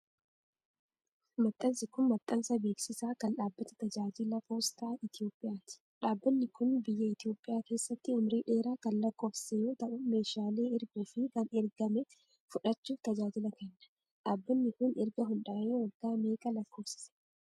Maxxansi kun, maxxansa beeksisaa kan dhaabbata tajaajila poostaa Itoophiyaati. Dhaabbanni kun, biyya Itoophiyaa keessatti umurii dheeraa kan lakkoofsise yoo ta'u, meeshaalee erguu fi kan ergame fudhachuuf tajaajila kenna. Dhaabbanni kun, erga hundaa'ee waggaa meeqa lakkoofsise?